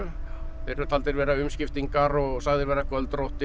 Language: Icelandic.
þeir eru taldir vera umskiptingar og sagðir vera